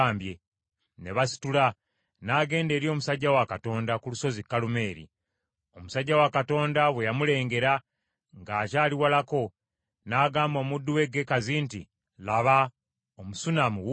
Ne basitula, n’agenda eri omusajja wa Katonda ku Lusozi Kalumeeri . Omusajja wa Katonda bwe yamuleengera ng’akyali walako, n’agamba omuddu we Gekazi nti, “Laba, Omusunammu wuuli!